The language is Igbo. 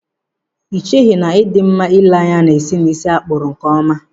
Ị cheghị na ị dị mma ịle anya na-esi n'ísí a kpụrụ nkeọma?